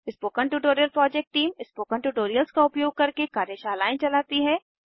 spoken tutorial project team spoken tutorials का उपयोग करके कार्यशालाएं चलाती है